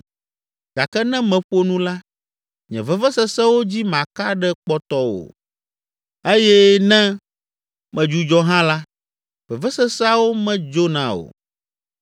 “Gake ne meƒo nu la, nye vevesesewo dzi maka ɖe kpɔtɔ o eye ne medzudzɔ hã la, veveseseawo medzona o.